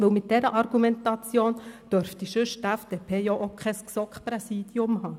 Denn mit dieser Argumentation dürfte die FDP ansonsten auch nicht das GSoK-Präsidium haben.